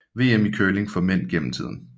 VM i curling for mænd gennem tiden